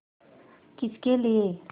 किसके लिए